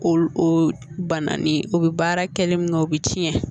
O o bananin o bɛ baara kɛlen min na o bɛ tiɲɛ